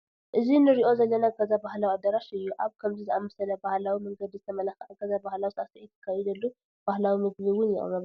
እዚ ንሪኦ ዘለና ገዛ ባህላዊ ኣዳራሽ እዩ፡፡ ኣብ ከምዚ ዝኣምሰለ ብባህላዊ መንገዲ ዝተመላክዐ ገዛ ባህላዊ ሳዕስዒት ይካየደሉ፣ ባህላዊ ምግቢ እውን ይቀርበሉ፡፡